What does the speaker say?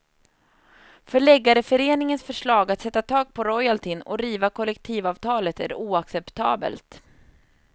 Förläggareföreningens förslag att sätta tak på royaltyn och riva kollektivavtalet är oacceptabelt.